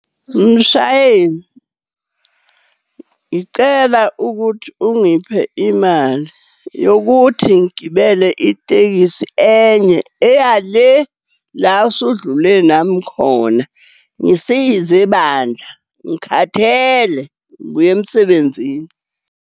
Mshayeli, ngicela ukuthi ungiphe imali yokuthi ngigibele itekisi enye, eya le, la usudlule nami khona. Ngisize bandla. Ngikhathele, ngibuya emsebenzini.